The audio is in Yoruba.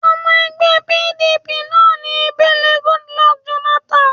Ọmọ ẹgbẹ́ PDP náà ni Ebele Goodluck Jonathan